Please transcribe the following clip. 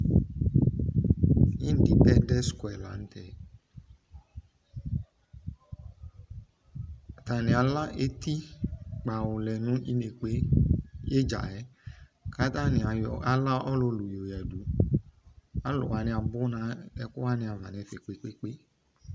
Independent square lantɛ Atane ala etikpawu lɛ no inekpe, idzaɛ ko atane ayɔ, ala ɔlulu yɔ yadu Alu wane abu no ɛku wane ava no ɛfɛ kpekpe